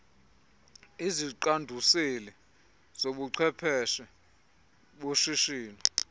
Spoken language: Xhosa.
iziqanduseli zobuchwephesha boshishino